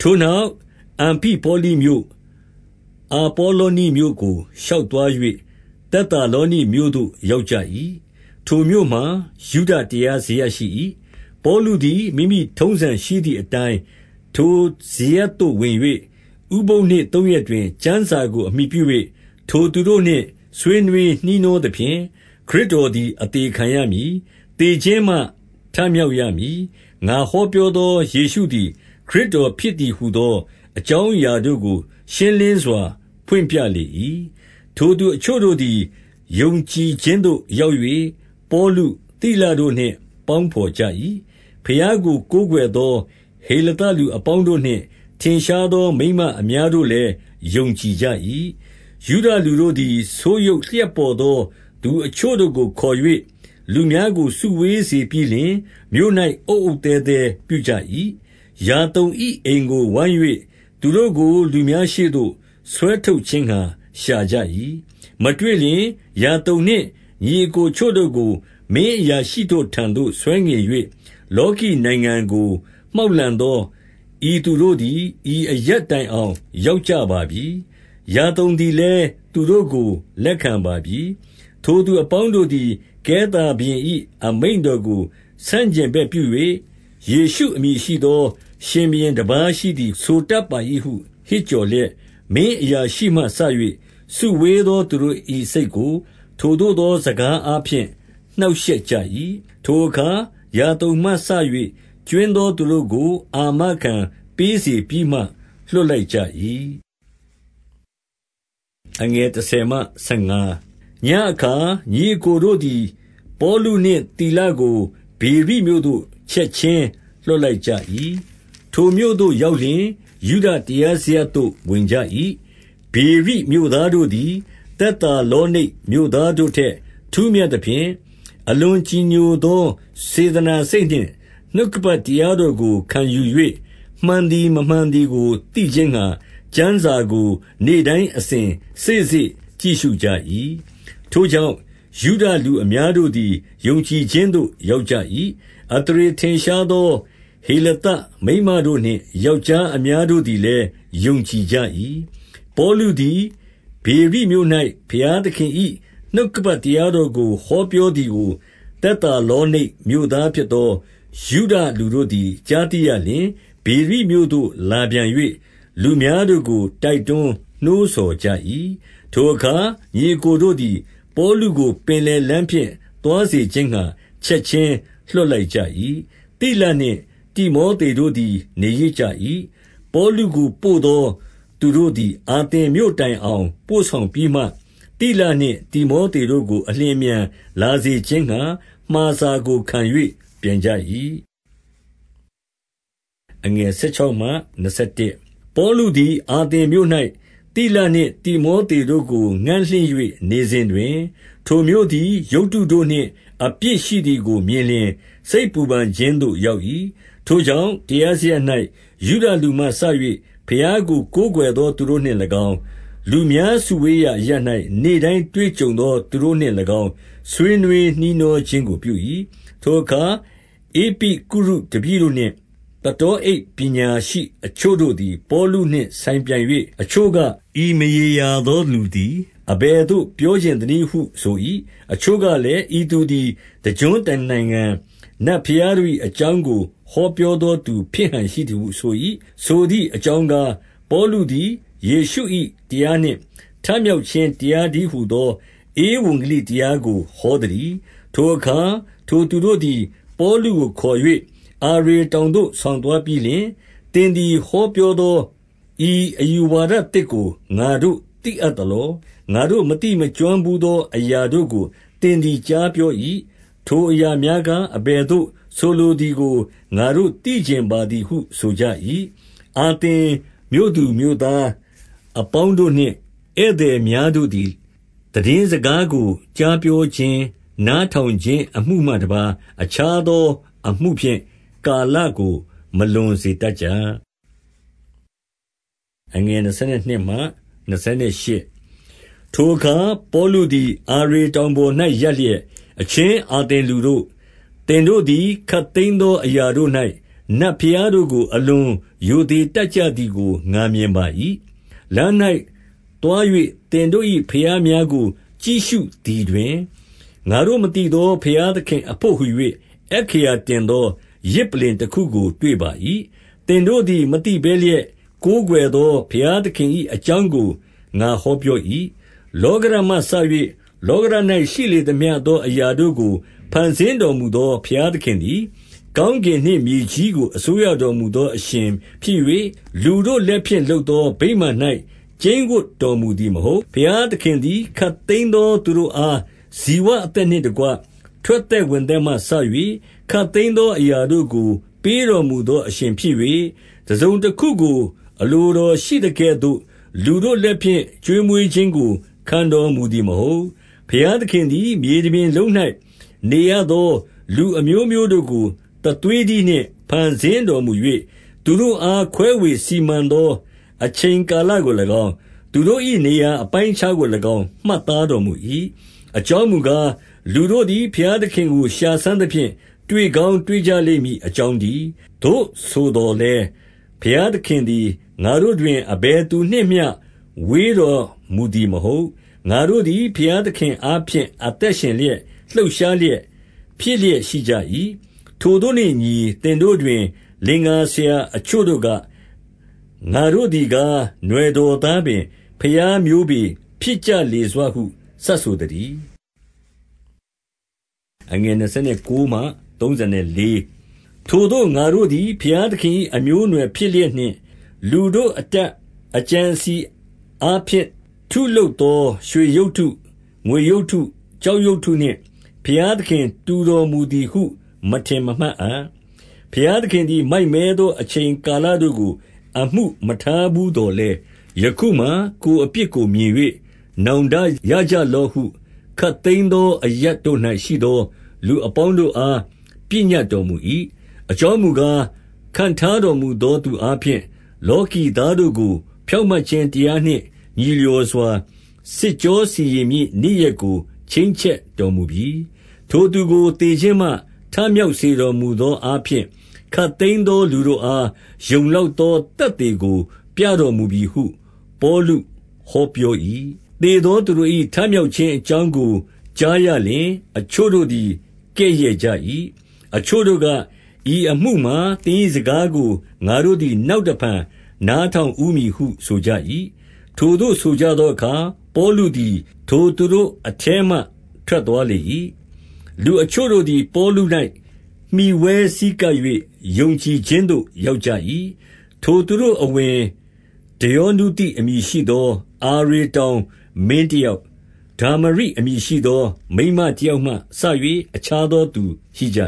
ထိုနောက်၊ အံဖိပေါလိမြို့၊ အာပေါလောနိမြို့ကို ရှောက်သွား၍ သက်သာလောနိတ်မြို့သို့ ရောက်ကြ၏။ ထိုမြို့မှာယုဒတရားစရပ်ရှိ၏။ ပေါလုသည် မိမိထုံးစံရှိသည်အတိုင်း ထိုစရပ်သို့ ဝင်၍၊ ဥပုသ် နေ့သုံးရက်တွင် ကျမ်းစာကိုအမှီပြု၍ ထိုသူတို့နှင့် ဆွေးနွေးနှီးနှောသဖြင့်၊ ခရစ်တော်သည် အသေခံရမည်။ သေခြင်းမှ ထမြောက်ရမည်။ ငါဟောပြောသောယေရှုသည် ခရစ်တော်ဖြစ်သည်ဟူသောအကြောင်း အရာတို့ကို ရှင်းလင်းစွာဖွင့်ပြလေ၏။ ထိုသူအချို့တို့သည် ယုံကြည်ခြင်းသို့ရောက်၍၊ ပေါလု၊ သိလတို့နှင့် ပေါင်းဘော်ကြ၏။ ဘုရားကို ကိုးကွယ်သော ဟေလသလူ အပေါင်းတို့နှင့် ထင်ရှားသော မိန်းမများတို့လည်း ယုံကြည်ကြ၏။ ယုဒလူတို့သည် ဆိုးယုတ်လျှပ်ပေါ်သော သူအချို့တို့ကို ခေါ်၍ လူများကို စုဝေးစေပြီးလျှင်၊ မြို့၌ အုတ်အုတ်သဲသဲပြုကြ၏။ ယာသုန်၏ အိမ်ကိုဝိုင်း၍ သူတို့ကို လူများရှေ့သို့ဆွဲထုတ်ခြင်းငှါရှာကြ၏။ မတွေ့လျှင်၊ ယာသုန်နှင့်ညီအစ်ကိုအချို့တို့ကို မင်းအရာရှိ တို့ထံသို့ဆွဲငင်၍၊ လောကီနိုင်ငံကို မှောက်လှန်သော ဤသူတို့သည် ဤအရပ်တိုင်အောင် ရောက်ကြပါပြီ။ ယာသုန်သည်လည်း သူတို့ကို လက်ခံပါပြီ။ ထို သူအပေါင်းတို့သည် ကဲသာဘုရင်၏ အမိန့်တော်ကို ဆန့်ကျင်ဘက်ပြု၍၊ ယေရှုအမည် ရှိသော ရှင်ဘုရင်တပါး ရှိသည်ဆိုတတ်ပါ၏ဟု ဟစ်ကြော်လျက်၊ မင်းအရာရှိမှစ၍ စုဝေးသောသူတို့၏ စိတ်ကို ထိုသို့သော စကားအားဖြင့် နှောင့်ရှက်ကြ၏။ ထိုအခါ ယာသုန်မှစ၍ ကြွင်းသောသူတို့ကို အာမခံပေးစေပြီးမှ လွှတ်လိုက်ကြ၏။ ညဉ့်အခါ ညီအစ်ကိုတို့သည် ပေါလုနှင့်သိလကို ဗေရိမြို့သို့ ချက်ခြင်းလွှတ်လိုက်ကြ၏။ ထိုမြို့သို့ ရောက်လျှင် ယုဒတရားစရပ်သို့ ဝင်ကြ၏။ ဗေရိမြို့သားတို့သည် သက်သာ လောနိတ်မြို့ သားတို့ထက် ထူးမြတ်သဖြင့်၊ အလွန်ကြည်ညိုသော စေတနာစိတ်နှင့် နှုတ်ကပတ်တရားတော်ကိုခံယူ၍ မှန်သည်မမှန်သည်ကိုသိခြင်းငှါ၊ ကျမ်းစာကိုနေ့တိုင်း အစဉ်စေ့စေ့ကြည့်ရှုကြ၏။ ထိုကြောင့်၊ ယုဒလူအများတို့သည် ယုံကြည်ခြင်းသို့ရောက်ကြ၏။ အသရေထင်ရှားသော ဟေလသမိန်းမ တို့နှင့် ယောက်ျားအများတို့သည် လည်း ယုံကြည်ကြ၏။ ပေါလုသည် ဗေရိမြို့၌ ဘုရားသခင်၏ နှုတ်က ပတ်တရားတော်ကိုဟောပြောသည်ကို၊ သက်သာလော နိတ်မြို့သားဖြစ်သော ယုဒလူ တို့သည် ကြားသိရလျှင်၊ ဗေရိမြို့သို့လာပြန်၍ လူများတို့ကို တိုက်တွန်း နှိုးဆော် ကြ၏။ ထိုအခါ ညီအစ်ကိုတို့သည် ပေါလုကို ပင်လယ်လမ်းဖြင့် သွားစေခြင်းငှါ ချက်ခြင်းလွှတ်လိုက်ကြ၏။ သိလနှင့် တိမောသေတို့သည် နေရစ်ကြ၏။ ပေါလုကိုပို့သောသူတို့သည် အာသင်မြို့ တိုင်အောင် ပို့ဆောင်ပြီးမှ၊ သိလနှင့် တိမောသေတို့ကို အလျင်အမြန်လာစေခြင်းငှါ မှာစာကိုခံ ၍ပြန်ကြ၏။ ပေါလုသည်အာသင်မြို့၌ သိလနှင့် တိမောသေ တို့ကို ငံ့လင့်၍ နေစဉ်တွင်၊ ထိုမြို့သည် ရုပ်တုတို့နှင့် အပြည့်ရှိသည်ကိုမြင်လျှင် စိတ်ပူ ပန်ခြင်းသို့ရောက်၏။ ထိုကြောင့် တရားစရပ်၌ ယုဒလူမှစ၍ ဘုရား ကို ကိုးကွယ်သော သူတို့နှင့်၎င်း၊ လူများစုဝေးရာအရပ်၌ နေ့တိုင်းတွေ့ကြုံသော သူတို့နှင့်၎င်း ဆွေးနွေး နှီးနှောခြင်းကိုပြု၏။ ထိုအခါ ဧပိကုရုတပည့်တို့နှင့် သတောအိတ် ပညာရှိအချို့တို့ သည် ပေါလုနှင့် ဆိုင်ပြိုင်၍၊ အချို့က၊ ဤမရေရသောလူသည် အဘယ်သိုပပြောချင်သနည်းဟု ဆို၏။ အချို့ကလည်း၊ ဤသူသည် တကျွန်းတနိုင်ငံ နတ်ဘုရားတို့၏ အကြောင်းကို ဟောပြောသောသူ ဖြစ်ဟန်ရှိသည်ဟုဆို၏။ ဆိုသည်အကြောင်းကား၊ ပေါလုသည် ယေရှု၏ တရားနှင့်ထမြောက်ခြင်း တရားတည်းဟူသော ဧဝံဂေလိတရားကို ဟောသတည်း။ ထိုအခါ၊ ထိုသူတို့သည် ပေါလုကိုခေါ်၍ အာရေတောင်သို့ ဆောင်သွားပြီးလျှင်၊ သင်သည် ဟော ပြောသော ဤအယူဝါဒသစ်ကို ငါတို့ သိအပ်သလော။ ငါတို့မသိမကျွမ်းဘူးသောအရာတို့ကို သင်သည် ကြားပြော၏။ ထိုအရာများကား အဘယ်သို့ ဆိုလိုသည် ကို ငါတို့သိချင်ပါသည်ဟု ဆိုကြ၏။ အာသင်မြို့သူမြို့သားအပေါင်းတို့နှင့် ဧည့်သည် များ တို့သည် သိတင်းစကားကိုကြားပြောခြင်း၊ နား ထောင်ခြင်း အမှုမှတပါး အခြားသော အမှုဖြင့်ကာလကို မလွန်စေတတ်ကြ။ ထိုအခါ ပေါလုသည် အာရေတောင်ပေါ်၌ ရပ်လျက်၊ အချင်း အာသင်လူတို့၊ သင်တို့သည် ခပ်သိမ်း သော အရာတို့၌ နတ်ဘုရားတို့ကို အလွန်ရိုသေ တတ်ကြ သည်ကို ငါမြင်ပါ၏။ လမ်း၌သွား၍သင်တို့၏ ဘုရားများကို ကြည့်ရှု သည်တွင်၊ ငါတို့ မသိသော ဘုရားသခင်အဘို့ဟူ၍ အက္ခရာတင်သောယဇ်ပလ္လင်တခုကို တွေ့ပါ၏။ သင်တို့ သည် မသိဘဲလျက် ကိုးကွယ်သော ဘုရားသခင်၏ အကြောင်းကို ငါဟောပြော၏။ လောကဓာတ်မှစ၍ လောကဓာတ်၌ ရှိလေသမျှ သောအရာတို့ကို ဖန်ဆင်းတော်မူသော ဘုရားသခင် သည်၊ ကောင်းကင်နှင့်မြေကြီးကို အစိုးရတော်မူသော အရှင်ဖြစ်၍၊ လူတို့လက်ဖြင့် လုပ်သော ဗိမာန်၌ ကျိန်းဝပ်တော်မူသည်မဟုတ်။ ဘုရားသခင်သည် ခပ်သိမ်းသောသူတို့အား ဇိဝအသက်နှင့် တကွထွက်သက်ဝင်သက်မှစ၍ ခပ်သိမ်း သောအရာတို့ကို ပေးတော်မူသောအရှင်ဖြစ်၍၊ တစုံ တခုကို အလိုတော်ရှိသကဲ့သို့ လူတို့လက်ဖြင့် ကျွေးမွေး ခြင်းကို ခံတော်မူသည်မဟုတ်။ ဘုရားသခင်သည် မြေတပြင်လုံး၌ နေရသော လူအမျိုးမျိုးတို့ ကိုတသွေးတည်းနှင့် ဖန်ဆင်းတော်မူ၍၊ သူတို့အားခွဲဝေစီမံသောအချိန် ကာလကို၎င်း၊ သူတို့၏ နေရာအပိုင်းအခြားကို၎င်း မှတ်သားတော်မူ၏။ အကြောင်းမူကား၊ လူတို့သည် ဘုရားသခင်ကို ရှာစမ်းသဖြင့် တွေ့ကောင်းတွေ့ကြလိမ့်မည် အကြောင်း တည်း။ သို့ဆိုသော်လည်း၊ ဘုရားသခင်သည် ငါတို့တွင် အဘယ်သူနှင့်မျှဝေးတော်မူသည်မဟုတ်။ ငါတို့သည် ဘုရားသခင်အားဖြင့် အသက်ရှင်လျက်၊ လှုပ်ရှားလျက်၊ ဖြစ်လျက်ရှိကြ၏။ ထိုသို့နှင့်အညီ၊ သင်တို့တွင် လင်္ကာဆရာအချို့တို့က၊ ငါတို့သည်ကား၊ နွှယ်တော်သားပင်၊ ဘုရားမျိုးပေ၊ ဖြစ်ကြလေဟု စပ်ဆိုသ တည်း။ ထိုသို့ငါတို့သည် ဘုရားသခင်၏ အမျိုးအနွယ်ဖြစ်လျက်နှင့် လူတို့အတတ်အကြံအစည်အားဖြင့် ထုလုပ် သောရွှေရုပ်တု၊ ငွေရုပ်တု၊ ကျောက်ရုပ်တုနှင့် ဘုရားသခင်တူတော်မူသည်ဟု မထင်မမှတ်အပ်။ ဘုရားသခင်သည် မိုက်မဲသော အချိန်ကာလတို့ကို အမှုမထား ဘူးသော်လည်း၊ ယခုမှာ ကိုယ်အပြစ်ကို မြင်၍ နောင်တရကြလော့ဟု ခပ်သိမ်းသော အရပ်တို့၌ ရှိသော လူအပေါင်းတို့အား ပညတ်တော်မူ၏။ အကြောင်းမူကား၊ ခန့်ထားတော်မူသော သူအားဖြင့် လောကီသားတို့ကို ဖြောင့်မတ်ခြင်းတရားနှင့် ညီလျော်စွာစစ်ကြောစီရင် မည့်နေ့ရက်ကို ချိန်းချက် တော်မူပြီ။ ထိုသူကို သေခြင်းမှ ထမြှောက် စေတော်မူ သော အားဖြင့် ခပ်သိမ်းသောလူတို့အား ယုံလောက်သော သက်သေကိုပြတော်မူပြီဟု ပေါလုဟောပြော၏။ သေသောသူတို့၏ ထမြောက်ခြင်းအကြောင်းကို ကြားရလျှင်၊ အချို့တို့သည် ကဲ့ရဲ့ကြ၏။ အချို့တို့က၊ ဤအမှုမှာ သင်၏စကားကို ငါတို့သည် နောက်တဖန် နားထောင်ဦးမည်ဟု ဆိုကြ၏။ ထိုသို့ဆိုကြသော အခါ ပေါလုသည် ထိုသူတို့ အထဲမှ ထွက်သွားလေ၏။ လူအချို့တို့သည် ပေါလု၌ မှီဝဲဆည်းကပ်၍ ယုံကြည်ခြင်းသို့ ရောက်ကြ၏။ ထိုသူတို့အဝင်ဒယောနုသိ အမည်ရှိသော အာရေတောင် မင်းတယောက်၊ ဒမောရိ အမည်ရှိသော မိန်းမတယောက်မှစ၍ အခြားသောသူရှိ ကြ